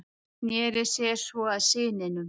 Sneri sér svo að syninum.